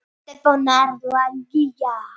Stefán og Erla Gígja.